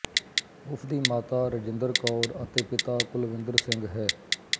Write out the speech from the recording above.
ਉਸਦੀ ਮਾਤਾ ਰਾਜਿੰਦਰ ਕੌਰ ਅਤੇ ਪਿਤਾ ਕੁਲਵਿੰਦਰ ਸਿੰਘ ਹੈ